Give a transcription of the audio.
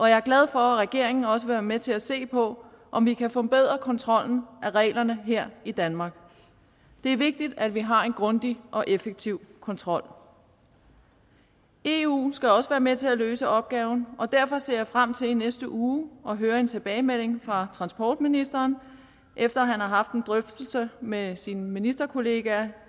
jeg er glad for at regeringen også vil være med til at se på om vi kan forbedre kontrollen af reglerne her i danmark det er vigtigt at vi har en grundig og effektiv kontrol eu skal også være med til at løse opgaven og derfor ser jeg frem til i næste uge at høre en tilbagemelding fra transportministeren efter at han har haft en drøftelse med sine ministerkollegaer